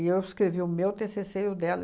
eu escrevi o meu tê cê cê e o dela.